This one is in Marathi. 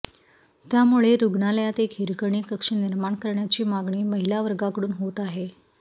त्यामुळे रुग्णालयात एक हिरकणी कक्ष निर्माण करण्याची मागणी महिलावर्गाकडून होत आहे